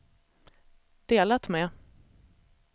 delat med